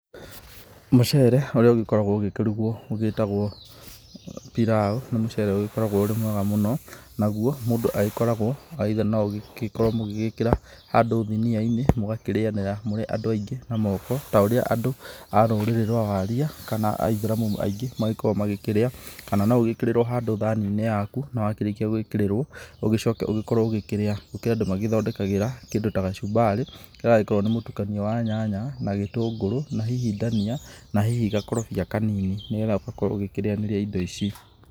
Mũcere ũrĩa ũgĩkoragwo ũgĩkĩrugwo ũgĩtagwo pilau nĩ mũcere ũgĩkoragwo ũrĩ mwega mũno, naguo mũndũ agĩkoragwo either no mũgĩkorwo mũgĩgĩkĩra handũ thinia-inĩ mũgakĩrĩanĩra mũrĩ andũ ingĩ na moko. Ta ũria andũ a rũrĩrĩ rwa waria kana aithĩramu aingĩ magĩkoragwo magĩkĩrĩa. Kana no ũgĩkĩrĩrwo handũ thani-inĩ yaku na wakĩrĩkia gũgĩkĩrĩrwo ũgĩcoke ũgĩkorwo ũkĩrĩa. Gũkĩrĩ andũ magĩthondekagĩra kĩndũ ta gacumbari karĩa gagĩkoragwo nĩ mũtukanio wa nyanya na gĩtũngũrũ na hihi ndania na hihi gakorobia kanini, nĩ getha ũgakorwo ũgĩkĩrĩanĩria indo ici.